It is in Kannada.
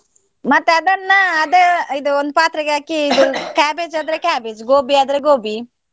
ಮತ್ತೆ ಅದನ್ನ ಅದ, ಇದು ಒಂದ್ ಪಾತ್ರೆಗೆ ಹಾಕಿ ಇದು cabbage ಆದ್ರೆ cabbage, gobi ಆದ್ರೆ gobi .